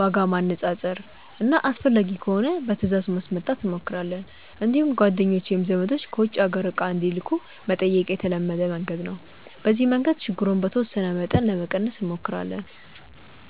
ዋጋ ማነፃፀር እና አስፈላጊ ከሆነ በትእዛዝ ማስመጣት እንሞክራለን። እንዲሁም ጓደኞች ወይም ዘመዶች ከውጭ አገር እቃ እንዲልኩ መጠየቅ የተለመደ መንገድ ነው። በዚህ መንገድ ችግሩን በተወሰነ መጠን ለመቀነስ እንሞክራለን።